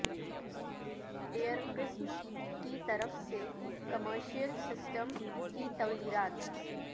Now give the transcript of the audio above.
year قسم کی طرف سے کمرشل سسٹم کی تغیرات